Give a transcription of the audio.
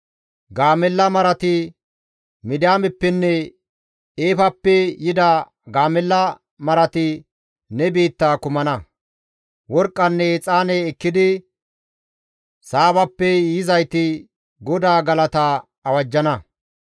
Gaamella marati, Midiyaameppenne Eefappe yida gaamella marati ne biittaa kammana. Worqqanne exaane ekkidi Saabappe yizayti GODAA galata awajjana.